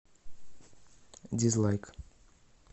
дизлайк